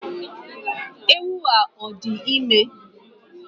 Ewu a o di ime?